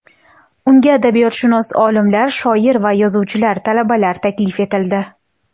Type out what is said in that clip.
Unga adabiyotshunos olimlar, shoir va yozuvchilar, talabalar taklif etildi.